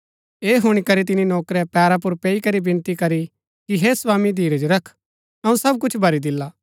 ऐह हुणी करी तिनी नौकरै पैरा पुर पैई करी विनती करी की हे स्वामी धीरज रख अऊँ सब कुछ भरी दिला